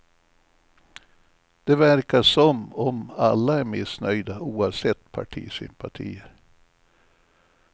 Det verkar som om alla är missnöjda, oavsett partisympatier.